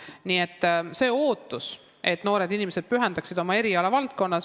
Nii et on ootus, et noored inimesed pühenduksid oma erialale.